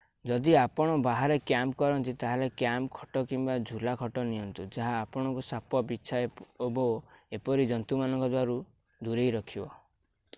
ଯଦି ଆପଣ ବାହାରେ କ୍ୟାମ୍ପ କରନ୍ତି ତାହେଲେ କ୍ୟାମ୍ପ ଖଟ କିମ୍ବା ଝୁଲା ଖଟ ନିଅନ୍ତୁ ଯାହା ଆପଣଙ୍କୁ ସାପ ବିଚ୍ଛା ଓ ଏପରି ଜନ୍ତୁ ମାନଙ୍କ ଠାରୁ ଦୂରେଇ ରଖିବ